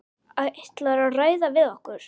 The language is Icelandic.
Ætlarðu að ræða við okkur?